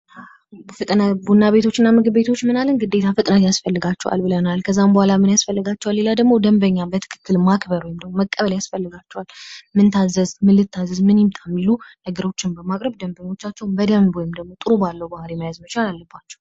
ቡና ቤቶችና ምግብ ቤቶች ግዴታ ፍጥነት ያስፈልጋቸዋል። ብለናል ደንበኛን በትክክልማክበር ከዛም በኋላ ምን ያስፈልጋቸዋል? ሌላ ደግሞ ደንበኛ ማክበር ወይም ደግሞ መቀበል ያስፈልጋቸዋል። ምን ልታዘዝ፣ ምን ይምጣ እሚሉ ነገሮችን በማቅረብ ደበኞቻቸውን በደንብ ወይም ደግሞ ጥሩ ባለው ሁኔታ መያዝ አለባቸው።